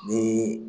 Ni